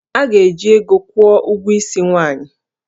A ga-eji ego kwụọ ụgwọ isi nwaanyị